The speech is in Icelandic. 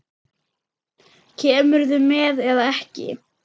Kemurðu með eða ekki.